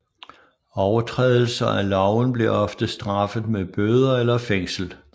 Overtrædelser af loven blev ofte straffet med bøder eller fængsel